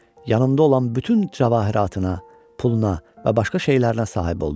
Yanında olan bütün cəvahiratına, puluna və başqa şeylərinə sahib oldu.